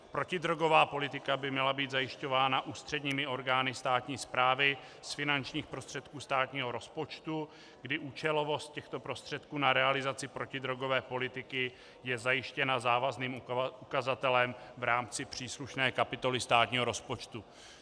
Protidrogová politika by měla být zajišťována ústředními orgány státní správy z finančních prostředků státního rozpočtu, kdy účelovost těchto prostředků na realizaci protidrogové politiky je zajištěna závazným ukazatelem v rámci příslušné kapitoly státního rozpočtu.